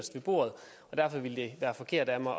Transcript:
ved bordet og derfor ville det være forkert af mig